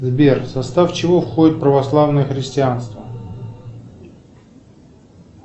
сбер в состав чего входит православное христианство